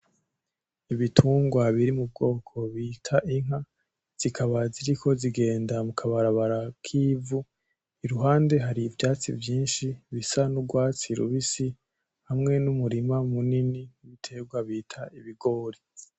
Ibitungwa biri mu bwoko bita inka zikaba ziriko ziragenda mu kabarabara kivu iruhande hari ivyatsi vyishi bisa n'urwatsi rubisi hamwe n'umurima munini n'ibiterwa bita ibigori.